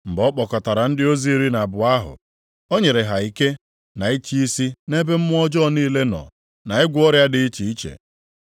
Mgbe ọ kpọkọtara ndị ozi iri na abụọ ahụ, o nyere ha ike na ịchị isi nʼebe mmụọ ọjọọ niile nọ na ịgwọ ọrịa dị iche iche.